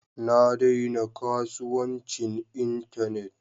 Na daina kasuwancin Internet